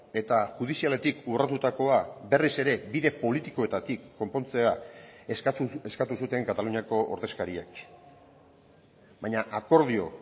eta judizialetik urratutakoa berriz ere bide politikoetatik konpontzea eskatu zuten kataluniako ordezkariek baina akordio